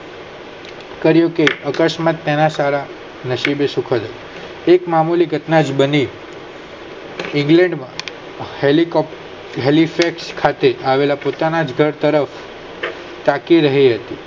કરિયું કે અકસ્માત તેના સારા નસીબ સુખ એક મામૂલી ઘટના જ બની ઈંગ્લેન્ડ માં Haley Cope હેલી જ રીતે ખાતે આવેલા પોતા ના જ ઘર તરફ તાંકી રહી હતી.